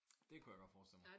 Det kunne jeg godt forestille mig